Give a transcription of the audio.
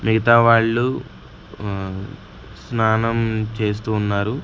మిగతా వాళ్ళు మ్మ్ స్నానం చేస్తూ ఉన్నారు.